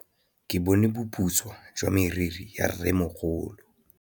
Ke bone boputswa jwa meriri ya rrêmogolo.